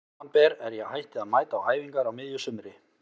Samanber er ég hætti að mæta á æfingar á miðju sumri.